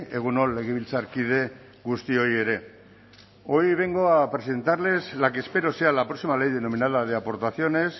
egun on legebiltzarkide guztioi ere hoy vengo a presentarles la que espero sea la próxima ley denominada de aportaciones